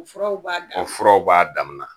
O furaw b'a dama o furaw b'a damana